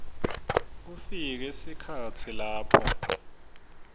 kufike sikhatsi lapho